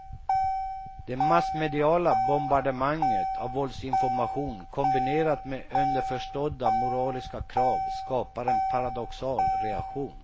Det massmediala bombardemanget av våldsinformation kombinerat med underförstådda moraliska krav skapar en paradoxal reaktion.